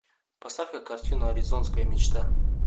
поставь ка картину аризонская мечта